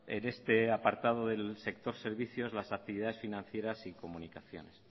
en este apartado del sector servicios las actividades financieras y comunicaciones